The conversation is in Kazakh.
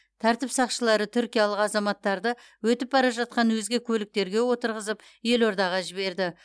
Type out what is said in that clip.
тәртіп сақшылары түркиялық азаматтарды өтіп бара жатқан өзге көліктерге отырғызып елордаға жіберді